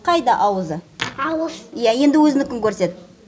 қайда ауызы ауыз иә енді өзінікін көрсет